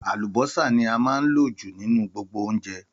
Àlùbọ́sà ní a máa ń lò jù nínú gbogbo oúnjẹ